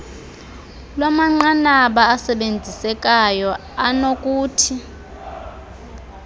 lwamanqanaba asebenzisekayo anokuthi